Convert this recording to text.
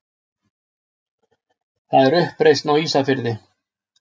Það er uppreisn á Ísafirði!